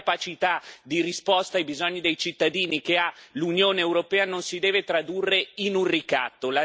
L'incapacità di risposta ai bisogni dei cittadini che ha l'Unione europea non si deve tradurre in un ricatto.